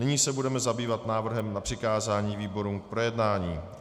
Nyní se budeme zabývat návrhem na přikázání výborům k projednání.